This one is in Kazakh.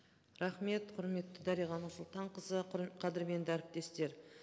рахмет құрметті дариға нұрсұлтанқызы қадірменді әріптестер